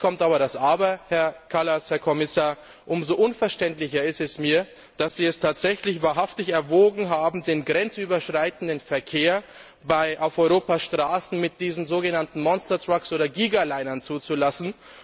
Jetzt kommt aber das Aber, Herr Kommissar Kallas Umso unverständlicher ist mir, dass Sie es tatsächlich wahrhaftig erwogen haben, den grenzüberschreitenden Verkehr auf Europas Straßen mit diesen sogenannten Monstertrucks oder Gigalinern zuzulassen.